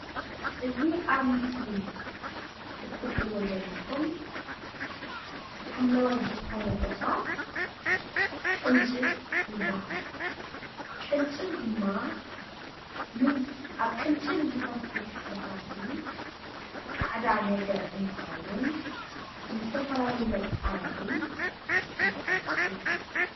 እዚ ኣብ ምስሊ እትሪኢዎ ዘለኩም ሓምለዋይ ዝኮነ እፅዋት ቅንጭብ ይባሃል፡፡ ቅንጭብ ድማ ኣብ ቅንጭብ ዝፈስስ ፈሳሲ ፃዕዳ ነገር እንትከውን ንዝተፈላለዩ መጣበቂ ንጥቀመሉ፡፡